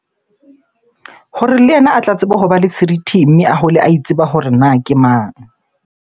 Hore le yena a tla tsebe hoba le seriti, mme a hole a itseba hore na ke mang?